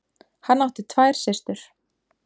Hann átti tvær systur.